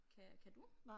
Kan kan du?